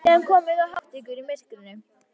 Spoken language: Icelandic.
Síðan komið þið og háttið ykkur í myrkrinu.